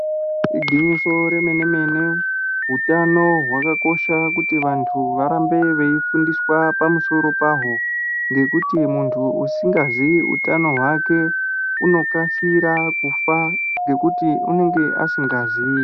Igwinyiso remene mene utano hwakakosha kuti vantu varambe veifundiswa pamusoro pahwo ngekuti muntu usingazii utano hwake unokasira kufa ngekuti unenge asikazii.